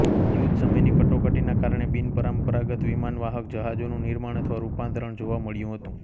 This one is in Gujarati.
યુદ્ધ સમયની કટોકટીના કારણે બિનપરંપરાગત વિમાનવાહક જહાજોનું નિર્માણ અથવા રૂપાંતરણ જોવા મળ્યું હતું